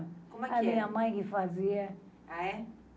A minha mãe que fazia. Ah é?